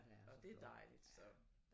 Og det er dejligt så